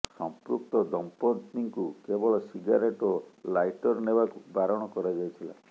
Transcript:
ସମ୍ପୃକ୍ତ ଦମ୍ପତ୍ତିଙ୍କୁ କେବଳ ସିଗାରେଟ ଏବଂ ଲାଇଟର ନେବାକୁ ବାରଣ କରାଯାଇଥିଲା